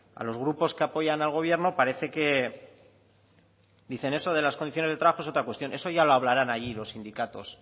a los grupos que apoyan al gobierno parece que dicen eso de las condiciones de trabajo es otra cuestión eso ya lo hablarán allí los sindicatos